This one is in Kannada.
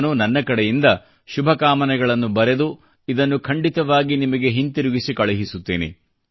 ನಾನು ನನ್ನ ಕಡೆಯಿಂದ ಶುಭಕಾಮನೆಗಳನ್ನು ಬರೆದು ಇದನ್ನು ಖಂಡಿತವಾಗಿ ನಿಮಗೆ ಹಿಂತಿರುಗಿಸಿ ಕಳುಹಿಸುತ್ತೇನೆ